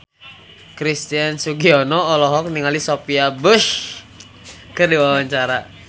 Christian Sugiono olohok ningali Sophia Bush keur diwawancara